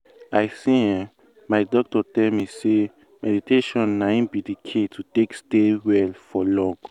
i say eeh my doctor tell me say meditation na in be the key to take stay well for long.